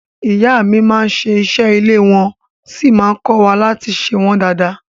Ìyá mi máa n ṣe ìṣe ilé wọ́n sí má n kọ́wa láti ṣe wọ́n dada.